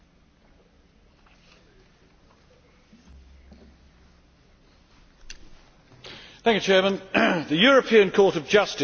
Mr President, the European Court of Justice will judge whether the laws applied to the Czech Republic are in accordance with the Charter of Fundamental Rights.